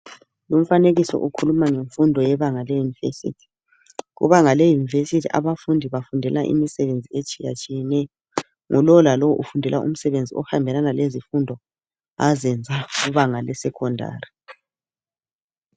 Umfanekiso ukhuluma ngemfundo yebanga leyunivesithi. Kubanga leyunivesithi abafundi bafundela imisebenzi etshiyatshiyeneyo. Ngulo lalo ufundela umsebenzi ohambelana lezifundo azenza kubanga lesekhondari.